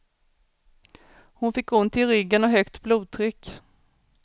Hon fick ont i ryggen och högt blodtryck.